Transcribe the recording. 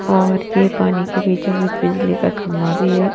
और ये पानी के बीचों बीच बिजली का खंभा भी है।